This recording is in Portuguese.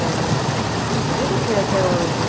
É, eu devo ter até hoje.